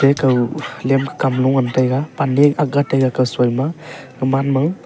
pekao lem ke kam nu ngan tega pan ne aga taiga kao soi ma gaman ma.